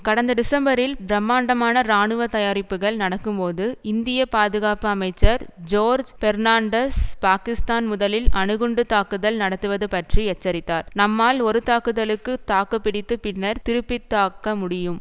கடந்த டிசம்பரில் பிரம்மாண்டமான இராணுவ தயாரிப்புக்கள் நடக்கும்போது இந்திய பாதுகாப்பு அமைச்சர் ஜோர்ஜ் பெர்ணாண்டஸ் பாக்கிஸ்தான் முதலில் அணுகுண்டுத் தாக்குதல் நடத்துவது பற்றி எச்சரித்தார் நம்மால் ஒரு தாக்குதலுக்கு தாக்கு பிடித்து பின்னர் திருப்பித்தாக்க முடியும்